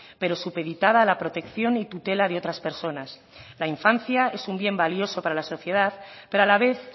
pero supeditada a la protección y tutela de otras personas la infancia es un bien valioso para la sociedad pero a la vez